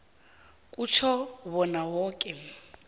kutjho bona woke